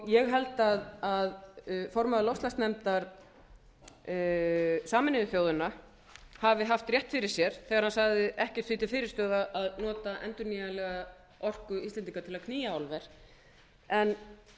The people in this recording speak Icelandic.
ég held að formaður loftslagsnefndar sameinuðu þjóðanna hafi haft rétt fyrir sér þegar hann sagði ekkert því til fyrirstöðu að nota endurnýjanlega orku íslendinga til að knýja álver en